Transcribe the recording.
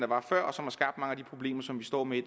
var før og som har skabt mange af de problemer som vi står med i